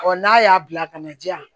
n'a y'a bila ka na di yan